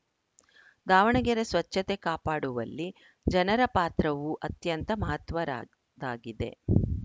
ದಾವಣಗೆರೆ ಸ್ವಚ್ಛತೆ ಕಾಪಾಡುವಲ್ಲಿ ಜನರ ಪಾತ್ರವೂ ಅತ್ಯಂತ ಮಹತ್ವರದ್ದಾಗಿದೆ